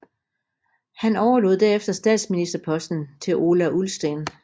Han overlod derefter statsministerposten til Ola Ullsten